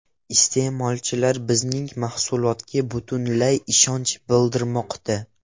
Iste’molchilar bizning mahsulotga butunlay ishonch bildirmoqda”.